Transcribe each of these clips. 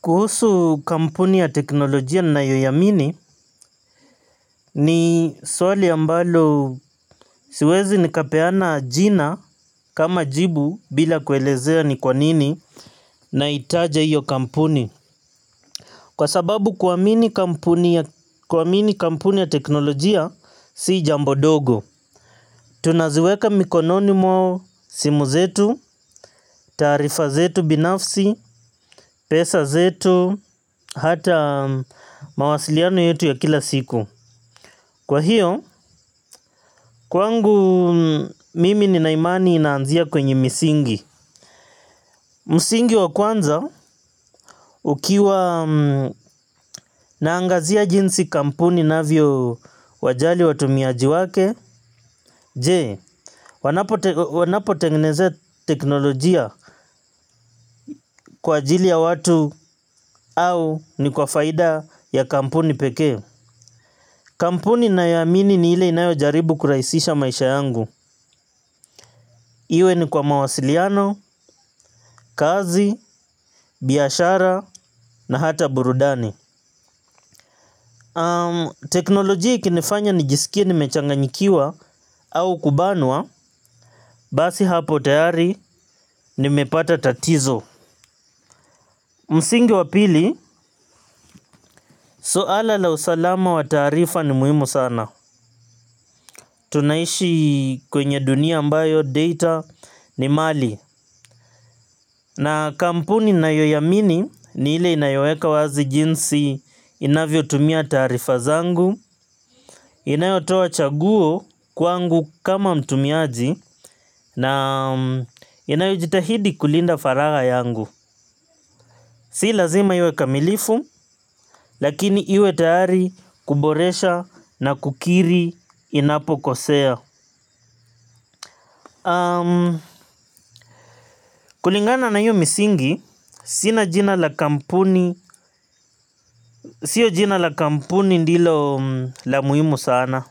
Kuhusu kampuni ya teknolojia ninayoiamini ni swali ambalo siwezi nikapeana jina kama jibu bila kuelezea ni kwanini naitaja iyo kampuni. Kwa sababu kuamini kampuni ya teknolojia si jambo dogo. Tunaziweka mikononi mo simu zetu, tarifa zetu binafsi, pesa zetu, hata mawasiliano yetu ya kila siku. Kwa hiyo, kwangu mimi nina imani inaanzia kwenye misingi. Msingi wa kwanza, ukiwa naangazia jinsi kampuni inavyowajali watumiaji wake, je, wanapotengeneza teknolojia kwa ajili ya watu au ni kwa faida ya kampuni peke. Kampuni nayoamini ni ile inayo jaribu kurahisisha maisha yangu. Iwe ni kwa mawasiliano, kazi, biashara na hata burudani. Teknolojii ikinifanya nijisikie nimechanganyikiwa au kubanwa. Basi hapo tayari nimepata tatizo. Msingi wa pili, suala la usalama wa taarifa ni muhimu sana. Tunaishi kwenye dunia ambayo data ni mali. Na kampuni nayoiamini ni ile inayoweka wazi jinsi inavyotumia taarifa zangu, inayotoa chaguo kwangu kama mtumiaji naam inayojitahidi kulinda faragha yangu. Si lazima iwe kamilifu, lakini iwe tayari kuboresha na kukiri inapokosea. Kulingana na hiyo misingi, sina jina la kampuni, sio jina la kampuni ndilo la muhimu sana.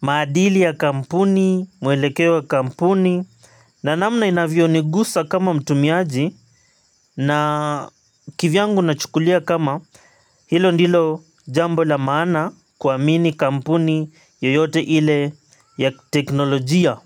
Maadili ya kampuni, mwelekeo wa kampuni, na namna inavyonigusa kama mtumiaji. Na kivyangu nachukulia kama, hilo ndilo jambo la maana kuamini kampuni yoyote ile ya teknolojia.